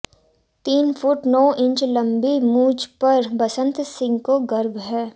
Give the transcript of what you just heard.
तीन फुट नौ इंच लंबी मूंछ पर बसंत सिंह को गर्व है